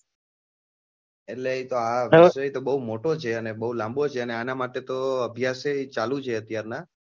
એટલે આ વિષય તો બઉ મોટો છે અને બઉ લાંબો છે અને અન માટે તો અભ્યાસ એ ચાલુ જ છે અત્યાર નાં,